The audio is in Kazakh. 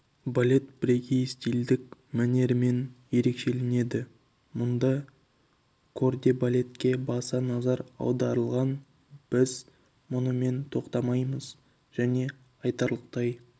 балет бірегей стильдік мәнерімен ерекшеленеді мұнда кордебалетке баса назар аударылған біз мұнымен тоқтамаймыз және айтарлықтай